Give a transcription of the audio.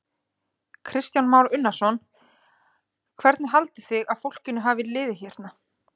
Kristján Már Unnarsson: Hvernig haldið þið að fólkinu hafi liðið hérna?